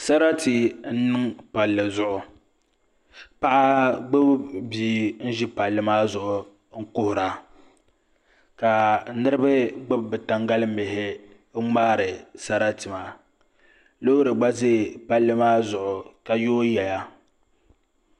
Sarati n niŋ palli zuɣu paɣa gbubi bia n ʒi palli maa zuɣu n kuhura ka niraba gbubi bi tangali mihi n ŋmaari sarati maa loori gba ʒɛ palli maa zuɣu ka yooi yɛya